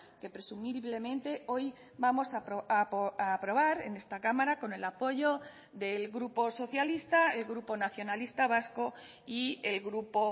que presumiblemente hoy vamos a aprobar en esta cámara con el apoyo del grupo socialista el grupo nacionalista vasco y el grupo